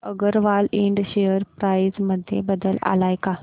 Agarwal Ind share price मध्ये बदल आलाय का